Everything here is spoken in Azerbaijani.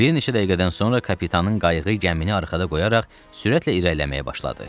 Bir neçə dəqiqədən sonra kapitanın qayığı gəmini arxada qoyaraq sürətlə irəliləməyə başladı.